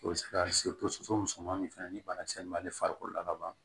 O bɛ se ka soso musoman min fɛnɛ ni banakisɛ ma ale farikolo la ka ban